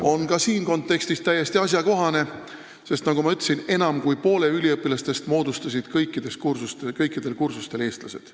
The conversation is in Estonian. ... on ka selles kontekstis täiesti asjakohane, sest nagu ma ütlesin, enam kui pooled üliõpilased kõikidel kursustel olid eestlased.